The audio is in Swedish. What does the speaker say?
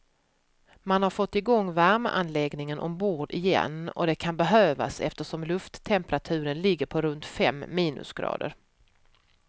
Man har fått igång värmeanläggningen ombord igen och det kan behövas eftersom lufttemperaturen ligger på runt fem minusgrader.